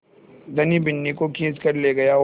धनी बिन्नी को खींच कर ले गया और